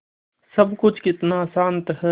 सब कुछ कितना शान्त है